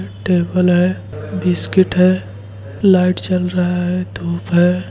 Table है biscuit है light जल रहा है धूप है।